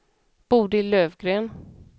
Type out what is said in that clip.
Bodil Löfgren